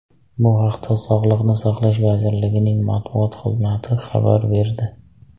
Bu haqda Sog‘liqni saqlash vazirligining matbuot xizmati xabar berdi .